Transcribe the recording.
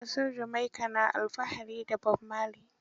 Ƙasar Jamaika na alfahari da Bob Marley.